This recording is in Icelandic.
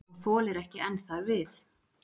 Og þolir ekki enn þar við.